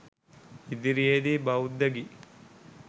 ඉදිරියේ දී බෞද්ධ ගී